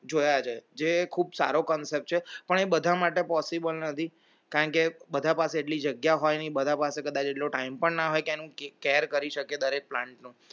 જોયા છે જે ખૂબ સારો concept છે પણ એ બધા માટે possible નથી કારણ કે બધા પાસે એટલી જગ્યા હોય બધા પાસે કદાચ એટલો time પણ ના હોય તેનું care કરી શકે દરેક plant નું